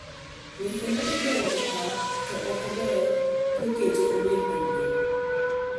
"weche madhii mbele e pap, to okeber kiket obed maduong'."